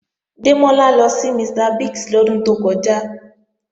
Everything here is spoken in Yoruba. Démọ́lá lọ sí Mr. Biggs lọ́dún tó kọjá